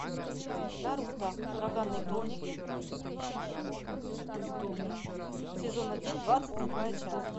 наруто ураганные хроники сезон один двадцать седьмая часть